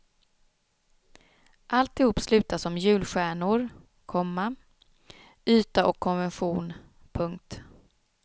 Alltihop slutar som julstjärnor, komma yta och konvention. punkt